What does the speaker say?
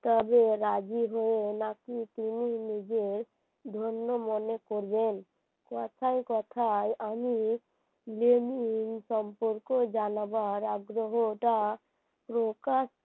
তবে রাজি হয়ে নাকি তিনি নিজের ধন্য মনে করবেন, কথায় কথায় আমি লেবু সম্পর্ক জানাবার আগ্রহটা প্রকাশ